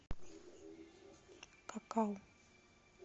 какао